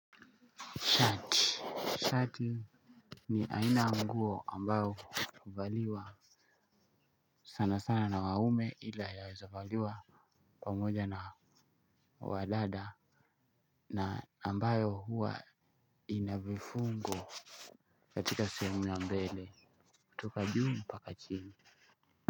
Shati, shati ni aina nguo ambayo huvaliwa sana sana na wanaume ila yaweza valiwa pamoja na wadada na ambayo huwa inabifungo katika sehumu ya mbele. Toka juu mpaka chini.